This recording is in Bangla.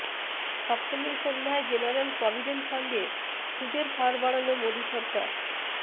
সপ্তমীর সন্ধ্যায় জেনারেল প্রভিডেন্ট ফান্ডে সুদের হার বাড়াল মোদী সরকার